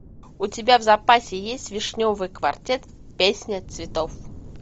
у тебя в запасе есть вишневый квартет песня цветов